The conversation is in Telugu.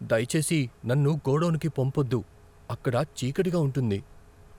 దయచేసి నన్ను గోడౌన్కు పంపొద్దు. అక్కడ చీకటిగా ఉంటుంది.